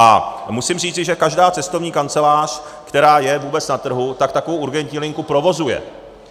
A musím říci, že každá cestovní kancelář, která je vůbec na trhu, tak takovou urgentní linku provozuje.